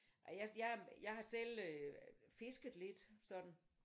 Jeg jeg har selv øh fisket lidt sådan